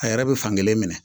A yɛrɛ bɛ fankelen minɛ